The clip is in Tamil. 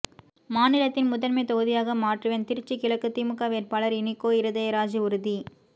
மாநிலத்தின் முதன்மை தொகுதியாக மாற்றுவேன் திருச்சி கிழக்கு திமுக வேட்பாளர் இனிகோ இருதயராஜ் உறுதி